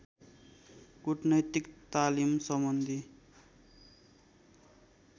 कुटनैतिक तालिम सम्बन्धी